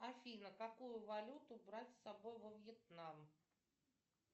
афина какую валюту брать с собой во вьетнам